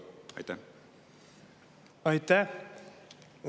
Aitäh!